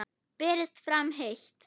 Berist fram heitt.